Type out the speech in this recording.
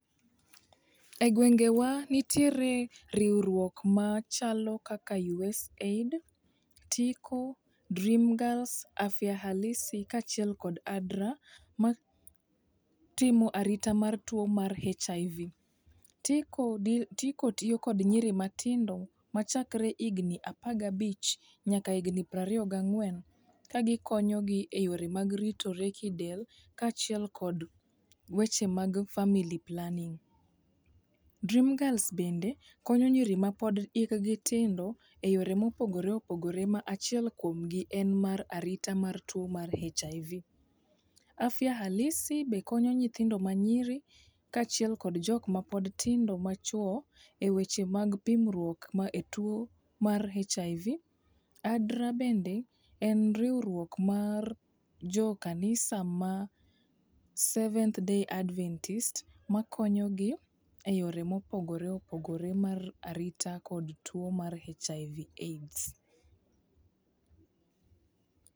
E gwengewa nitiere riwruok machalo kaka USAID, TIKO, DREAM GIRLS, AFYA HALISI kaachiel kod ADRA matimo arita mar tuo mar HIV. Tiko tiyo kod nyiri matindo machakre higni apagabich nyaka higni prariyo gang'wen kagikonyogi e yore mag ritore kidel kaachiel kod weche mag family planning. Dream girls bende konyo nyiri ma hikgi pod tindo e yore mopogore opogore ma achiel kuomgi en arita mar tuo mar HIV. Afya Halisi be konyo nyithindo manyiri kaachiel kod jokma pod tindo machwo e weche mag pimruok e tuo mar HIV. Adra bende en riwruok mar jokanisa ma seventh day adventist makonyogi e yore mopogore opogore mar arita kod tuo mar HIV AIDS.